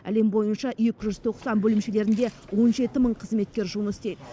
әлем бойынша екі жүз тоқсан бөлімшелерінде он жеті мың қызметкер жұмыс істейді